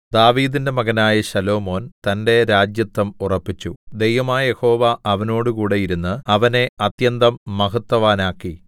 ദാവീദിന്റെ മകനായ ശലോമോൻ തന്റെ രാജത്വം ഉറപ്പിച്ചു ദൈവമായ യഹോവ അവനോടുകൂടെ ഇരുന്ന് അവനെ അത്യന്തം മഹത്വവാനാക്കി